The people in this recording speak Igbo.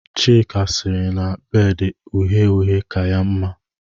Chika siri na bedu uhe-uhe ka ya nma